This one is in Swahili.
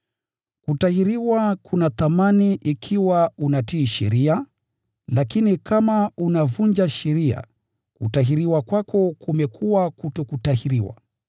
Kutahiriwa kuna thamani ikiwa unatii sheria, lakini kama unavunja sheria, kutahiriwa kwako kumekuwa kutokutahiriwa.